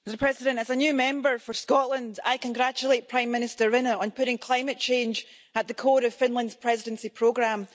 Mr President, as a new Member for Scotland, I congratulate Prime Minister Rinne on putting climate change at the core of Finland's Presidency programme.